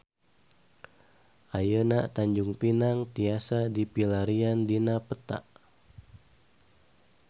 Ayeuna Tanjung Pinang tiasa dipilarian dina peta